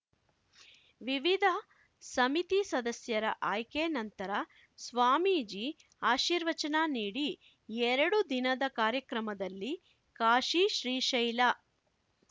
ವಿವಿಧ ಸಮಿತಿ ಸದಸ್ಯರ ಆಯ್ಕೆ ನಂತರ ಸ್ವಾಮೀಜಿ ಆಶೀರ್ವಚನ ನೀಡಿ ಎರಡು ದಿನದ ಕಾರ್ಯಕ್ರಮದಲ್ಲಿ ಕಾಶಿ ಶ್ರೀಶೈಲ